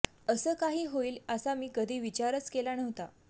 असं काही होईल असा मी कधी विचारच केला नव्हता